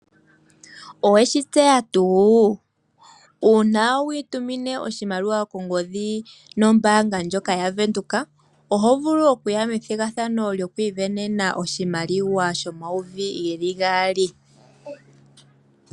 Oweshi tseya tuu? una witumina oshimaliwa nombanga tyoka ya bank Windhoek oho vulu okuya methigathano lyokwi venena oshimaliwa shomayovi omayovi gali.